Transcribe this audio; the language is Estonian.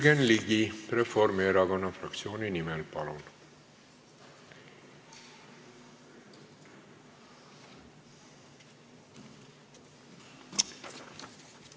Jürgen Ligi Reformierakonna fraktsiooni nimel, palun!